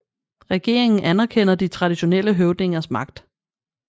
Regeringen anerkender de traditionelle høvdinges magt